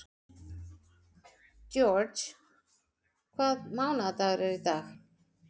George, hvaða mánaðardagur er í dag?